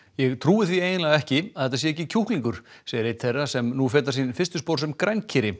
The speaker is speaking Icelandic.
ég trúi því eiginlega ekki að þetta sé ekki kjúklingur segir einn þeirra sem nú fetar sín fyrstu spor sem